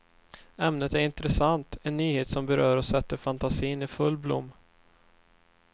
Ämnet är intressant, en nyhet som berör och sätter fantasin i full blom.